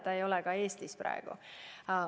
Ta ei ole ka Eestis praegu.